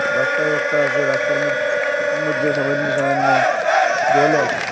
রাস্তাও একটা আছে রাস্তার মধ মইধ্যে সামাইন্য সামাইন্য জলও আছে।